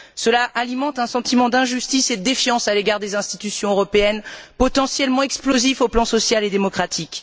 Cela alimente un sentiment d'injustice et de défiance à l'égard des institutions européennes, potentiellement explosif sur le plan social et démocratique.